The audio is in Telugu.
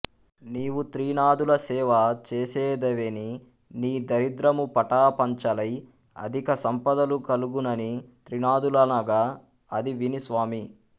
నీవు త్రినాధుల సేవ చేసేదవేని నీ దరిద్రము పటా పంచలై అధిక సంపదలు కల్గునని త్రినాధులనగా అది విని స్వామీ